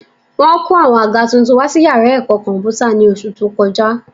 Wọ́n kó àwọn àga tuntun wá sí yàrá ẹ̀kọ́ kọ̀m̀pútà ní oṣù tó kọjá